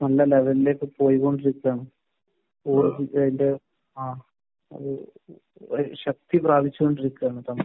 നല്ല ലെവലിലേക്ക് പോയിക്കൊണ്ടിരിക്കുകയാണ്. ആഹ്. അത് ശക്തി പ്രാപിച്ചുകൊണ്ടിരിക്കുകയാണ്.